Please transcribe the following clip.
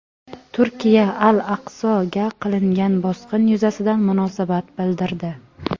Turkiya "Al-Aqso"ga qilingan bosqin yuzasidan munosabat bildirdi.